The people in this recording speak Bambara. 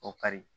O kari